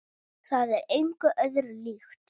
Það er engu öðru líkt.